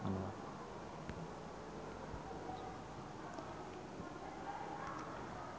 Cristine Hakim jeung Coldplay keur dipoto ku wartawan